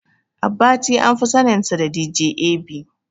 Abbati anfi saninsa da "DJ A.B".